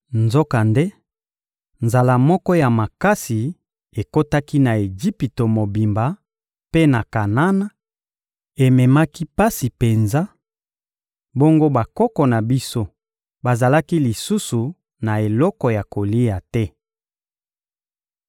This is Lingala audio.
Nzokande, nzala moko ya makasi ekotaki na Ejipito mobimba mpe na Kanana, ememaki pasi penza, bongo bakoko na biso bazalaki lisusu na eloko ya kolia te.